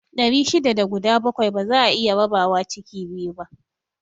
Ɗari shida da guda bakwai ba za'a iya rabawa ciki biyu